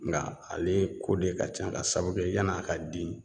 Nga ale ko de ka can ka sababu kɛ yan'a ka den